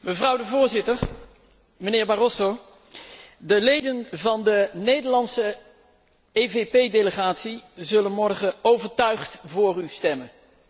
Mevrouw de Voorzitter, mijnheer Barroso, de leden van de Nederlandse EVP delegatie zullen morgen overtuigd voor u stemmen.